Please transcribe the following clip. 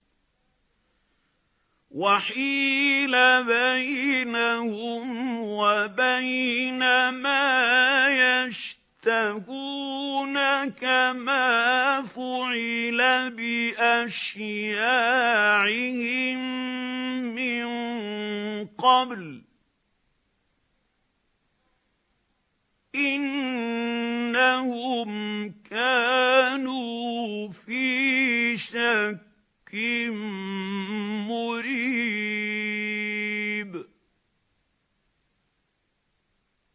وَحِيلَ بَيْنَهُمْ وَبَيْنَ مَا يَشْتَهُونَ كَمَا فُعِلَ بِأَشْيَاعِهِم مِّن قَبْلُ ۚ إِنَّهُمْ كَانُوا فِي شَكٍّ مُّرِيبٍ